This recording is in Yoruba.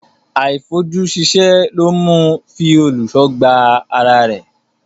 Àìfojúsíṣẹ́ ló mú un fi òlùṣó gbá ara rẹ̀.